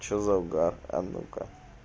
что завгар а ну ка